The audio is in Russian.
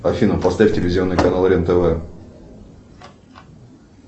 афина поставь телевизионный канал рен тв